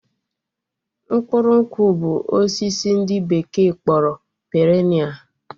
Mkpụrụ nkwụ bụ osisi ndị bekee kpọrọ perenia